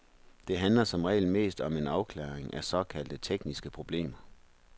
Det handler som regel mest om en afklaring af såkaldte tekniske problemer.